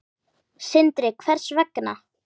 Sindri: Hvers vegna?